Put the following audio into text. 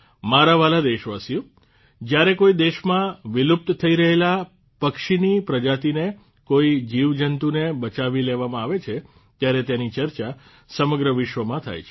મારાં વ્હાલાં દેશવાસીઓ જ્યારે કોઈ દેશમાં વિલુપ્ત થઇ રહેલાં પક્ષીની પ્રજાતીને કોઇ જીવજંતુને બચાવી લેવામાં આવે છે ત્યારે તેની ચર્ચા સમગ્ર વિશ્વમાં થાય છે